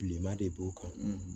Bilenman de b'o kan